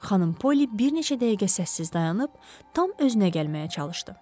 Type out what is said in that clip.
Xanım Poli bir neçə dəqiqə səssiz dayanıb tam özünə gəlməyə çalışdı.